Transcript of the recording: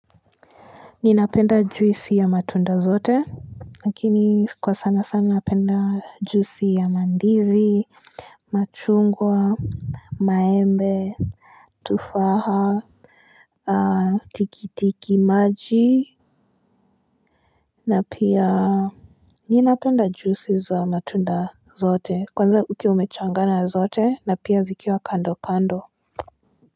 Ninapenda juisi ya matunda zote, lakini kwa sana sana napenda juisi ya mandizi, machungwa, maembe, tufaha, tikitiki maji, na pia, ninapenda juisi za matunda zote, kwanza ukiwa umechanganya zote, na pia zikiwa kando kando.